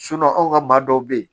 anw ka maa dɔw bɛ yen